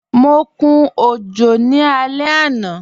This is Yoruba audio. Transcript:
Mọ kún ojò ní alẹ̀ ana.